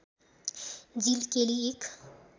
जिल केली एक